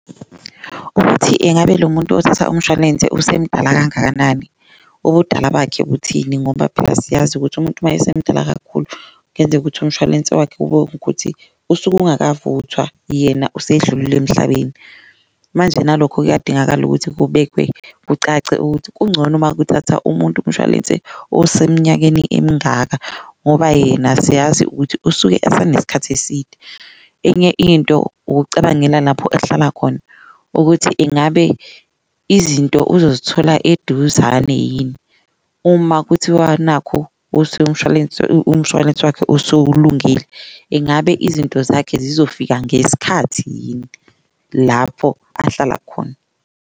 Ukuthi engabe lo muntu othatha umshwalense usemdala kangakanani obudala bakhe ukuthini ngoba phela siyazi ukuthi umuntu uma esemdala kakhulu kuyenzeka ukuthi umshwalense wakhe kube ukuthi usuke ungakavuthwa yena usedlulile emhlabeni. Manje nalokho kuyadingakala ukuthi kubekwe kucace ukuthi kuncono uma kuthatha umuntu umshwalense osemnyangweni emingaka, ngoba yena siyazi ukuthi usuke asenesikhathi eside. Enye into ukucabangela lapho ahlala khona ukuthi ingabe izinto uzozithola eduzane yini uma kuthiwa nakhu umshwalense, umshwalensi wakhe usulungile, engabe izinto zakhe zizofika ngesikhathi yini lapho ahlala khona.